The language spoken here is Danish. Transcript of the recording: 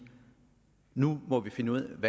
nu må vi finde ud af